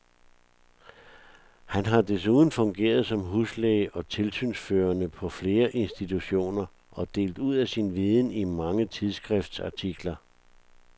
Han har desuden fungeret som huslæge og tilsynsførende på flere institutioner og delt ud af sin viden i mange tidsskriftsartikler.